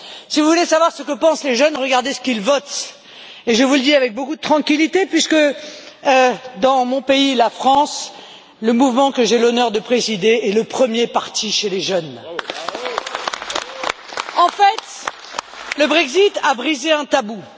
Si vous voulez savoir ce que pensent les jeunes, regardez ce qu'ils votent, et je vous le dis avec beaucoup de tranquillité puisque, dans mon pays, la France, le mouvement que j'ai l'honneur de présider est le premier parti chez les jeunes. En fait, le Brexit a brisé un tabou.